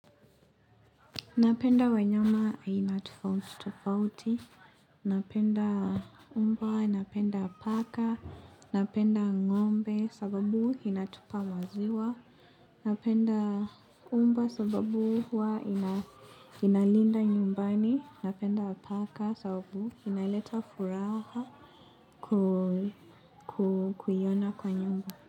Napenda wanyama aina tofauti tofauti, napenda mbwa, napenda paka, napenda ngombe sababu inatupa maziwa. Napenda mbwa sababu huwa inalinda nyumbani, napenda paka sababu inaleta furaha kuiyona kwa nyumba.